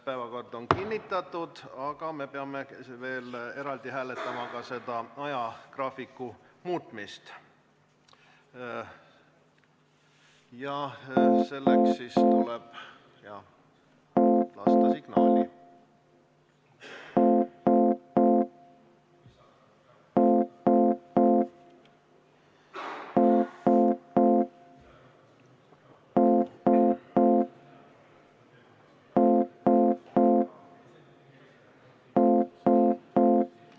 Päevakord on kinnitatud, aga me peame veel eraldi hääletama ka ajagraafiku muutmist ja selleks tuleb lasta signaali.